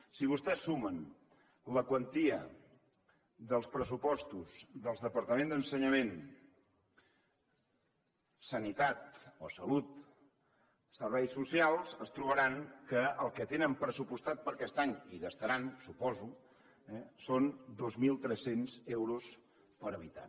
si vostès sumen la quantia dels pressupostos dels departaments d’ensenyament sanitat o salut serveis socials es trobaran que el que tenen pressupostat per a aquest any i gastaran suposo són dos mil tres cents euros per habitant